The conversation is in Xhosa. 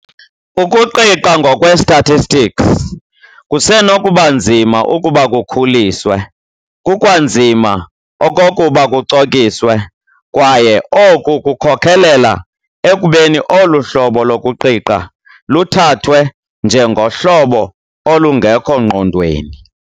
Ukuqiqa ngokwe-statistics kusenokuba nzima ukuba kukhuliswe kukwanzima okokuba kucokiswe, kwaye oku kukhokhelela ekubeni olu hlobo lokuqiqa luthathwe njengohlobo olungekho ngqondweni.